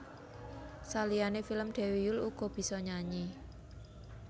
Saliyané film Dewi Yull uga bisa nyanyi